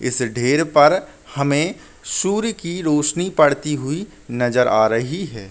इस ढेर पर हमें सूर्य की रोशनी पड़ती हुई नज़र आ रही है।